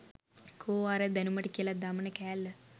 කෝ අර දැනුමට කියලා දමන කෑල්ල